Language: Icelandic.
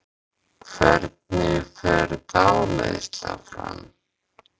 hvernig fer dáleiðsla fram